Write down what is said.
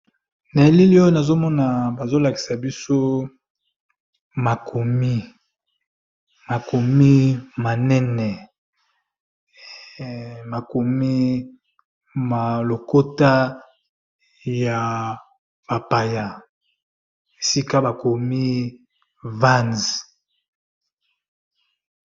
Logo oyo, bakomi VANZ. Eza na langi ya pembe pe mwindu.